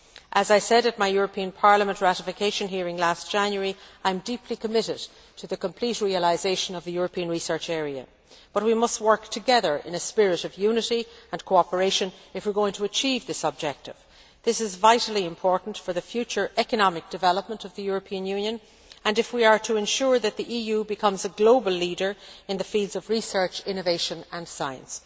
As I said at my European Parliament ratification hearing last January, I am deeply committed to the complete realisation of the European research area, but we must work together in a spirit of unity and cooperation if we are going to achieve this objective. This is vitally important for the future economic development of the European Union and if we are to ensure that the EU becomes a global leader in the fields of research, innovation and science.